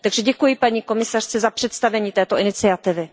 Děkuji paní komisařce za představení této iniciativy.